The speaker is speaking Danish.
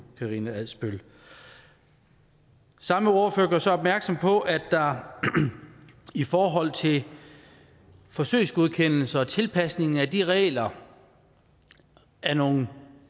karina adsbøl samme ordfører gør så opmærksom på at der i forhold til forsøgsgodkendelserne og tilpasningen af de regler er nogle